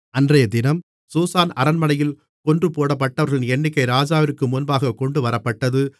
அன்றையதினம் சூசான் அரண்மனையில் கொன்றுபோடப்பட்டவர்களின் எண்ணிக்கை ராஜாவிற்கு முன்பாக கொண்டுவரப்பட்டது